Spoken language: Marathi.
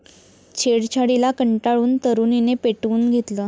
छेडछाडीला कंटाळून तरुणीने पेटवून घेतलं